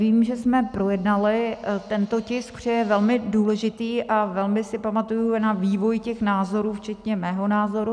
Vím, že jsme projednali tento tisk, že je velmi důležitý, a velmi si pamatuji na vývoj těch názorů včetně mého názoru.